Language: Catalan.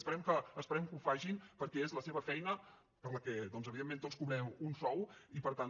esperem que ho facin perquè és la seva feina per la qual doncs evidentment tots cobrem un sou i per tant